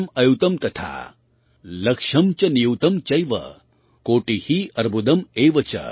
लक्षं च नियुंत चैव कोटि अर्बुदम् एव च